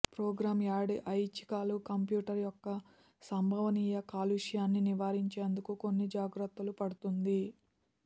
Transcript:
programme add ఐచ్ఛికాలు computer యొక్క సంభవనీయ కాలుష్యాన్ని నివారించేందుకు కొన్ని జాగ్రత్తలు పడుతుంది